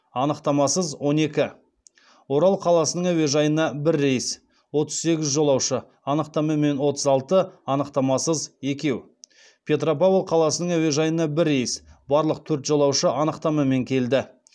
анықтамасыз он екі орал қаласының әуежайына бір рейс отыз сегіз жолаушы анықтамамен отыз алты анықтамасыз екеу петропавл қаласының әуежайына бір рейс барлық төрт жолаушы анықтамамен келді